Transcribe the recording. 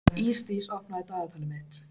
Ísdís, opnaðu dagatalið mitt.